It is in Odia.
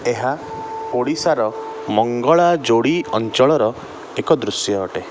ଏହା ଓଡିଶାର ମଙ୍ଗଳାଯୋଡି ଅଞ୍ଚଳର ଏକ ଦୃଶ୍ୟ ଅଟେ ।